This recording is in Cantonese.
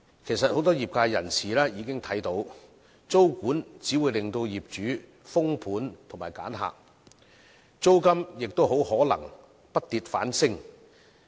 其實，很多業界人士已經看到，租務管制只會令業主封盤和挑選租客，租金也可能會不跌反升。